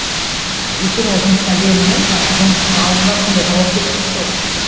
ыыы өйткені ол жұмысына берілген жаңағы жұмысының алдында сондай жауапкершілік қой